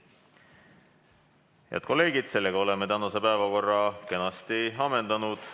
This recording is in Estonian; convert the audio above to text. Head kolleegid, oleme tänase päevakorra kenasti ammendanud.